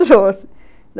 Trouxe.